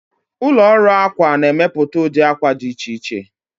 Ụlọ ọrụ akwa na-emepụta ụdị akwa dị iche iche.